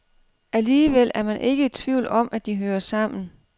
Alligevel er man ikke i tvivl om, at de hører sammen.